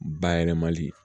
Bayɛlɛmali